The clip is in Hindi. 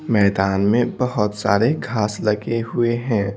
मैदान में बहोत सारे घास लगे हुए हैं।